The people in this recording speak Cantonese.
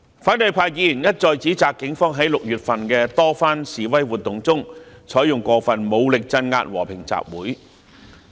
反對派議員一再指責警方在6月份的多番示威活動中，採用過分武力鎮壓和平集會。